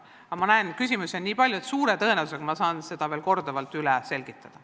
Aga ma näen, et küsimusi on nii palju, et suure tõenäosusega saan ma seda veel korduvalt üle selgitada.